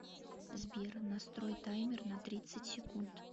сбер настрой таймер на тридцать секунд